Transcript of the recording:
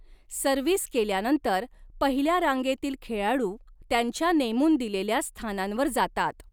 Service केल्यानंतर, पहिल्या रांगेतील खेळाडू त्यांच्या नेमून दिलेल्या स्थानांवर जातात.